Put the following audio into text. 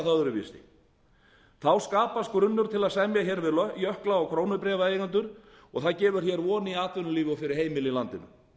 það öðruvísi þá skapast grunnur til að semja við jökla og krónubréfaeigendur og það gefur von í atvinnulífi og fyrir heimili í landinu